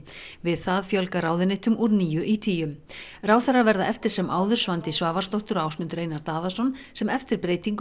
við það fjölgar ráðuneytum úr níu í tíu ráðherrar verða eftir sem áður Svandís Svavarsdóttir og Ásmundur Einar Daðason sem eftir breytingu